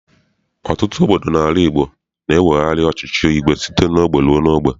Ọtụtụ obodo n'ala Igbo na-ewegharị ọchịchị igwe site n'ogbe rue n'ogbe.